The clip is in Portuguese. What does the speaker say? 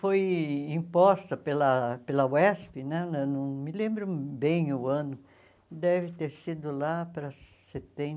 Foi imposta pela pela UESP né, na não me lembro bem o ano, deve ter sido lá para